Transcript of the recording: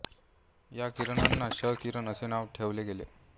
या किरणांना क्ष किरण असे नाव ठेवले गेले